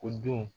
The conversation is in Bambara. Ko don